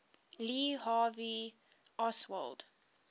lee harvey oswald